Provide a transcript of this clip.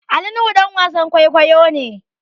Ali nuhu ɗan wasan kwaikwayo ne